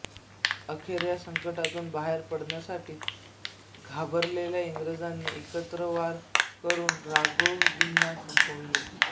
अखेर या संकटातुन बाहेर पडण्यासाठी घाबरलेल्या इंग्रजांनी एकत्र वार करून राघोजींना संपवले